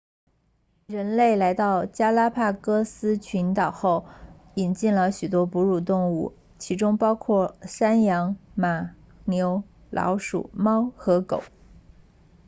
人类来到加拉帕戈斯群岛后引进了许多哺乳动物其中包括山羊马牛老鼠猫和狗